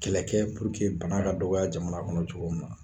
Kɛlɛ kɛ bana ka dɔgɔya jamana kɔnɔ cogo min na